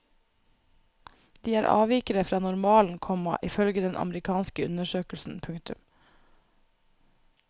De er avvikere fra normalen, komma ifølge den amerikanske undersøkelsen. punktum